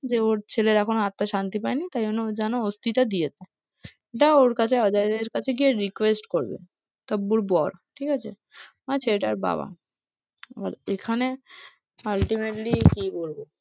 দিয়ে ওর ছেলের এখন আত্মার শান্তি পায়নি তাইজন্যে ওই জন্যে অস্থিটা দিয়েছে দিয়ে ওর কাছে গিয়ে অজয়ের কাছে গিয়ে request করবে টাব্বুর বর, ঠিক আছে? মানে ছেলেটার বাবা এবার এখানে ultimately কি বলবো,